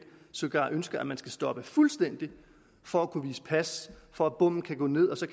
sågar ønsker at man skal stoppe fuldstændig for at kunne vise pas for at bommen kan gå ned og så